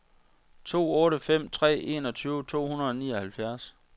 to otte fem tre enogtyve to hundrede og nioghalvfjerds